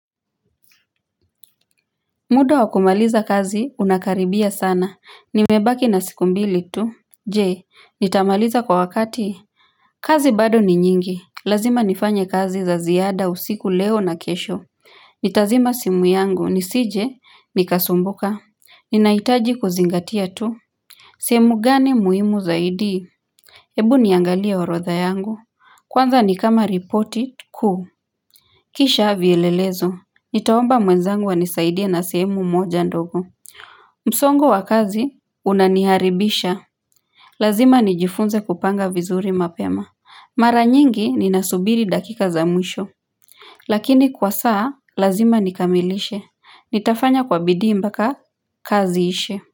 Muda wa kumaliza kazi unakaribia sana nimebaki na siku mbili tu je nitamaliza kwa wakati kazi bado ni nyingi lazima nifanye kazi za ziada usiku leo na kesho nitazima simu yangu nisije nikasumbuka ninahitaji kuzingatia tu sehemu gani muhimu zaidi ebu niangalia orodha yangu kwanza nikama ripoti kuu kisha vielelezo Nitaomba mwezangu anisaidie na sehemu moja ndogo msongo wa kazi unaniharibisha Lazima nijifunze kupanga vizuri mapema Mara nyingi ninasubiri dakika za mwisho Lakini kwa saa lazima nikamilishe Nitafanya kwa bidii mpaka kazi iishe.